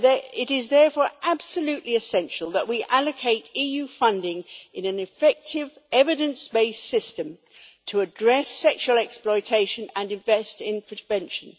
It is therefore absolutely essential that we allocate EU funding in an effective, evidence based system to address sexual exploitation and invest in prevention.